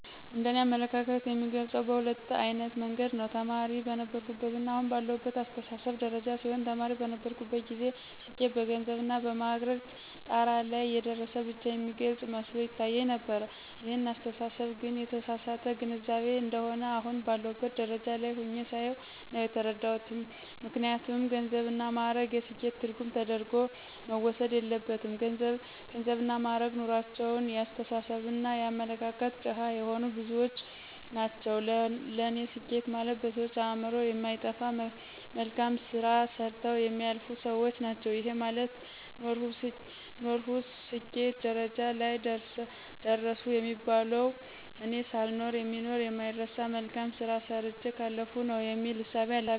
እንደ እኔ አመለካከት የምገልጸው በሁለት አይነት መንገድ ነው። ተማሪ በነበርሁበትና አሁን ባለሁበት አስተሳሰብ ደረጃ ሲሆን ተማሪ በነበርሁበት ጊዜ ስኬት በገንዘብና በማዕረግ ጣራ ላይ የደረሰ ብቻ የሚገልፅ መስሎ ይታየኝ ነበር ይህን አስተሳሰብ ግን የተሳሳተ ግንዛቤ እንደሆነ አሁን ባለሁበት ደረጃ ላይ ሁኘ ሳየው ነው የተረዳሁት። ምክንያቱም ገንዘብና ማእረግ የስኬት ትርጉም ተደርጎ መወሰድ የለበትም ገንዘብና ማእረግ ኑሮአቸው የአስተሳሰብና የአመለካከት ድሀ የሆኑ ብዙዎች ናቸው ለኔ ስኬት ማለት በሰዎች አእምሮ የማይጠፋ መልካም ስራ ሰርተው የሚያልፉ ሰዎች ናቸው። ይሄ ማለት ኖርሁ ስኬት ደረጃ ላይ ደረሰሁ የሚባለው እኔ ሳልኖር የሚኖር የማይረሳ መልካም ስራ ሰርቸ ካለፍሁ ነው የሚል እሳቤ አለኝ።